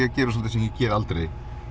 að gera svolítið sem ég geri aldrei